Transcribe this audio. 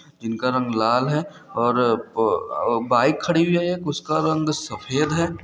जिनका रंग लाल है और अ ब बाइक खड़ी हुई है उसका रंग सफेद है।